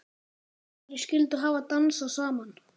Hverjir skyldu hafa dansað saman?